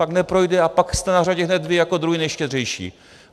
Pak neprojde a pak jste na řadě hned vy jako druzí nejštědřejší.